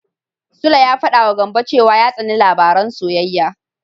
Sule ya faɗawa Gambo cewa ya tsani labaran soyayya.